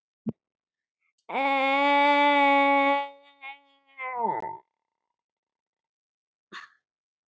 Þar komu til afar sérstæð málsatvik, meðal annars ungur aldur brotamanns og erfiðar aðstæður.